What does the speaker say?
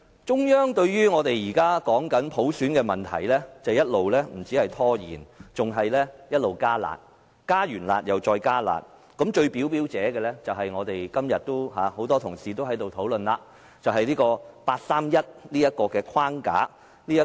中央對於我們現時談論普選的問題，不止一直拖延，更是一直"加辣"，是"加辣"後再"加辣"，最明顯的就是很多同事今天都在討論的八三一框架。